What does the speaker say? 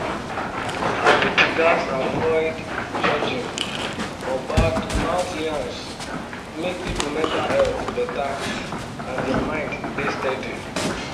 our people gats avoid judging or bad mouth yans make people mental health better and their mind dey steady.